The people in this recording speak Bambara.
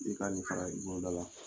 I ka nin fara i kumada la!